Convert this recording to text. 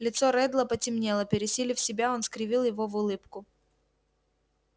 лицо реддла потемнело пересилив себя он скривил его в улыбку